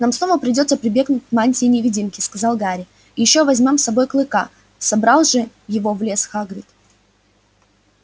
нам снова придётся прибегнуть к мантии-невидимке сказал гарри и ещё возьмём с собой клыка собрал же его в лес хагрид